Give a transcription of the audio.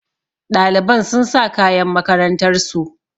Ɗaliban sun sa kayan makarantar su